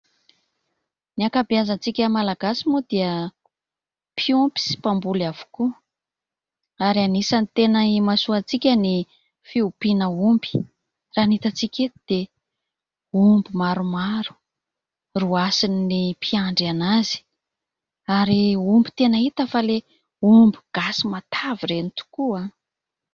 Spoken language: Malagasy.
Ny ankabeazantsika Malagasy moa dia mpiompy sy mpamboly avokoa ary anisany tena imasoantsika ny fiompiana omby. Raha ny hitantsika eto dia omby maromaro roasin' ny mpiandriana azy, ary omby tena hita fa ilay omby gasy matavy ireny tokoa.